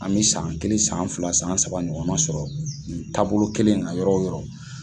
An bɛ san kelen san fila san saba ɲɔgɔn na sɔrɔ nin taabolo kelen in na yɔrɔ o yɔrɔ.